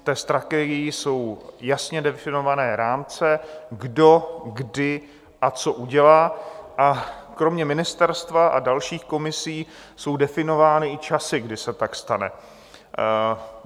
K té strategii jsou jasně definované rámce, kdo, kdy a co udělá, a kromě ministerstva a dalších komisí jsou definovány i časy, kdy se tak stane.